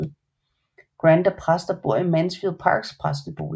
Grant er præst og bor i Mansfield Parks præstebolig